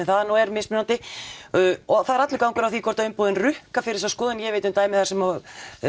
það nú er og það er allur gangur á því hvort umboðin rukka fyrir þessa skoðun ég veit um dæmi þar sem